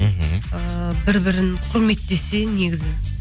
мхм ы бір бірін құрметтесе негізі